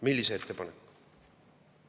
Millise ettepaneku?